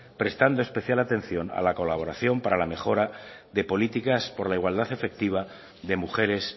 prestando especial atención a la colaboración para la mejora de políticas por la igualdad efectiva de mujeres